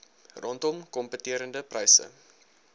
rondom kompeterende pryse